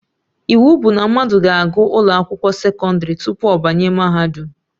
Iwu bụ na mmadụ ga-agụ ụlọ akwụkwọ sekọndrị tupu ọ banye mahadum